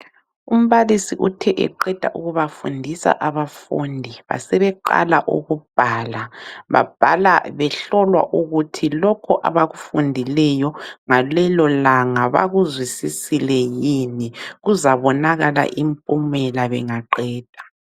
Umbalisi uthe eqeda ukubafundisa abafundi basebeqala ukubhala ,babhala behlolwa ukuthi lokhu abakufundileyo ngalelo langa bakuzwisisile yini. Kuzabonakala impumela bengaqeda.